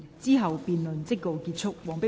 之後辯論即告結束。